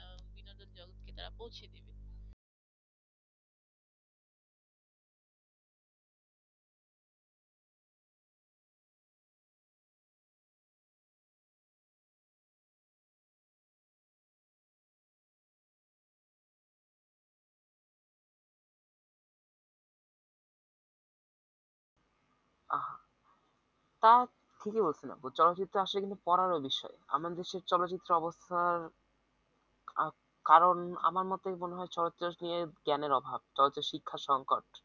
আহ তা ঠিকই বলছেন আপু চলচ্চিত্র আসলে কিন্তু বড় বিস্ময় আমাদের দেশের চলচ্চিত্রের অবস্থার কারণ আমার মতে মনে হয় চলচ্চিত্র নিয়ে জ্ঞানের অভাব শিক্ষার সংকট